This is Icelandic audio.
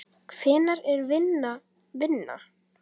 Hvenær er vinna vinna?